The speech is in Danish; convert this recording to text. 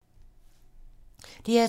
DR2